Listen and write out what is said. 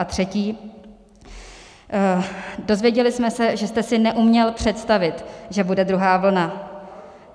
A třetí: Dozvěděli jsme se, že jste si neuměl představit, že bude druhá vlna.